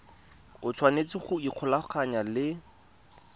o tshwanetse go ikgolaganya le